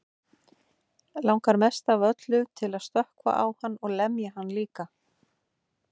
Langar mest af öllu til að stökkva á hann og lemja hann líka.